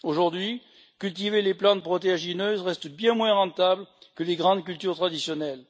Aujourd'hui, cultiver des plantes protéagineuses reste bien moins rentable que les grandes cultures traditionnelles.